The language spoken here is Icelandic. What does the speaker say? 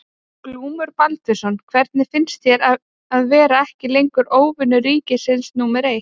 Glúmur Baldvinsson: Hvernig finnst þér að vera ekki lengur óvinur ríkisins númer eitt?